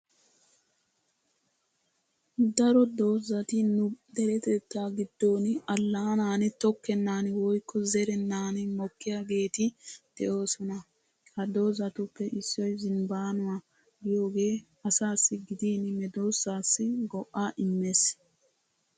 Daro doozzati nu deretettaa giddon allaanan tokkennan woykko zerennan mokkiyaageeti de'oosona. Ha doozzatupoe issoy zinbbaanuwa giyogee asaassi gidin medoossaassi go'aa immes.